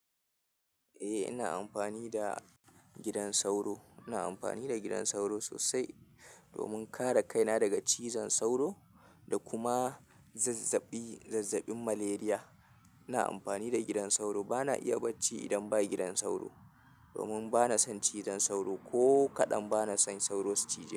Eh ina amfani da gidan sauro. Ina amfani da gidan sauro sosai domin kare kaina daga cizon sauro da kuma zazzabi, zazzabin malaria. Ina amfani da gidan sauro. Ba na iya barci idan ba gidan sauro domin ba na son cizon sauro ko kaɗan. Ba na son sauro su cije.